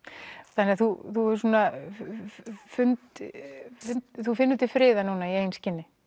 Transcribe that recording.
þannig þú finnur þú finnur til friðar núna í eigin skinni